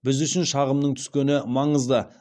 біз үшін шағымның түскені маңызды